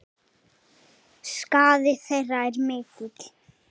Skaði þeirra er mikill.